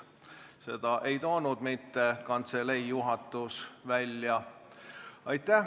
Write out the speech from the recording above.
Seda ei käinud välja mitte kantselei juhatus.